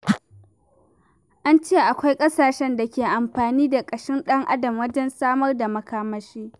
An ce akwai ƙasashen da ke amfani da kashin ɗan'adam wajen samar da makamashi.